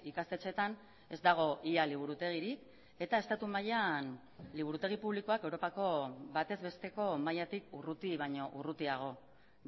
ikastetxeetan ez dago ia liburutegirik eta estatu mailan liburutegi publikoak europako batez besteko mailatik urruti baino urrutiago